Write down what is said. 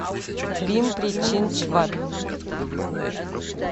пимпри чинчвад